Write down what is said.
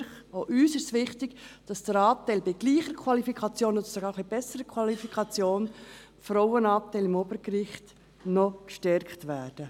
Auch uns ist es wichtig, dass der Frauenanteil am Obergericht bei gleicher Qualifikation oder sogar etwas besserer Qualifikation noch gestärkt wird.